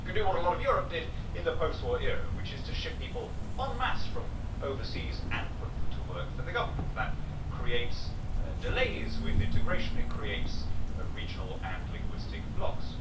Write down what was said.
You can do what a lot of Europe did in the post war era, which is to ship people en masse from overseas and put them to work for the government, that creates delays with integration, it creates regional and linguistic blocs.